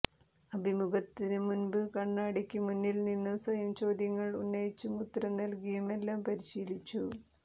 അഭിമുഖത്തിനുമുമ്പ് കണ്ണാടിക്ക് മുന്നിൽനിന്ന് സ്വയം ചോദ്യങ്ങൾ ഉന്നയിച്ചും ഉത്തരം നൽകിയുമെല്ലാം പരിശീലിച്ചു